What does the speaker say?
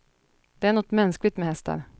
Det är något mänskligt med hästar.